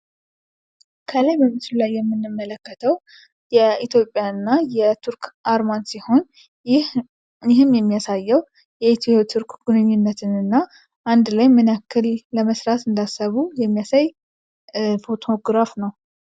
ከላይ በምስሉ ላይ የምንመለከተው የኢትዮጵያ እና የቱርክ አርማ ሲሆን ይህም የሚያሳየው የኢትዮ ቱርክ ግንኙነትና አንድ ላይ ምን ያክል ለመስራት እንዳሰቡ የሚያሳይ ፎቶግራፍ ነው።